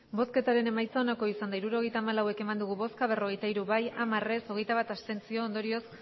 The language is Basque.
hirurogeita hamalau eman dugu bozka berrogeita hiru bai hamar ez hogeita bat abstentzio ondorioz